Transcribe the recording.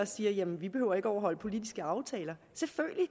siger jamen vi behøver ikke at overholde politiske aftaler selvfølgelig